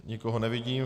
Nikoho nevidím.